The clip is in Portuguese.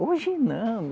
Hoje não.